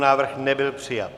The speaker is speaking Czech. Návrh nebyl přijat.